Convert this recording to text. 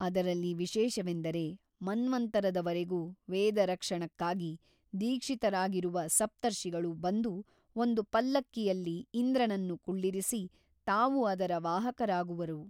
ಅದರಲ್ಲಿ ವಿಶೇಷವೆಂದರೆ ಮನ್ವಂತರದವರೆಗೂ ವೇದರಕ್ಷಣಕ್ಕಾಗಿ ದೀಕ್ಷಿತರಾಗಿರುವ ಸಪ್ತರ್ಷಿಗಳು ಬಂದು ಒಂದು ಪಲ್ಲಕ್ಕಿಯಲ್ಲಿ ಇಂದ್ರನನ್ನು ಕುಳ್ಳಿರಿಸಿ ತಾವು ಅದರ ವಾಹಕರಾಗುವರು.